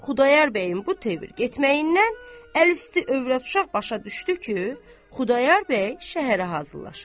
Xudayar bəyin bu tövür getməyindən əlüstü övrət-uşaq başa düşdü ki, Xudayar bəy şəhərə hazırlaşır.